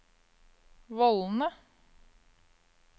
vollene